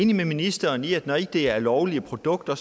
enig med ministeren i at når det ikke er lovlige produkter